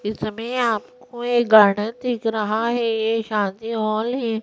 इसमें आपको ये गार्डन दिख रहा है ये शादी हाल है ।